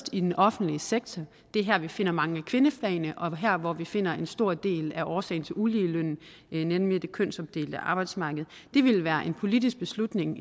i den offentlige sektor det er her vi finder mange af kvindefagene og her hvor vi finder en stor del af årsagen til uligelønnen nemlig det kønsopdelte arbejdsmarked det ville være en politisk beslutning